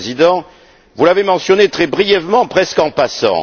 le Président, vous ne l'avez mentionné que très brièvement, presque en passant.